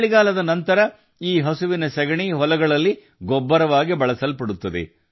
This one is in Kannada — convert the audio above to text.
ಚಳಿಗಾಲದ ನಂತರ ಈ ಹಸುವಿನ ಸಗಣಿ ಹೊಲಗಳಲ್ಲಿ ಗೊಬ್ಬರವಾಗಿ ಬಳಸಲ್ಪಡುತ್ತದೆ